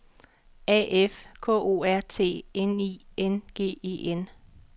A F K O R T N I N G E N